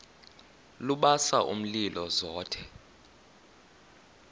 lubasa umlilo zothe